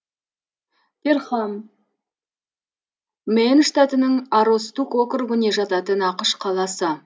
перхам мэн штатының аростук округіне жататын ақш қаласы